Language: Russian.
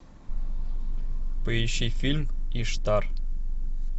поищи фильм иштар